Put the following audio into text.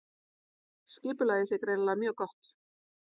Skipulagið sé greinilega mjög gott